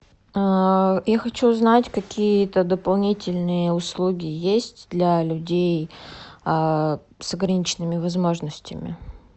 я хочу узнать какие то дополнительные услуги есть для людей с ограниченными возможностями